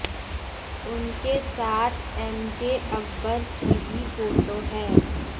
उनके साथ एमजे अकबर की भी फोटो है